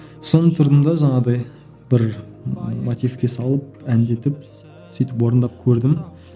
соны тұрдым да жаңағыдай бір мотивке салып әндетіп сөйтіп орындап көрдім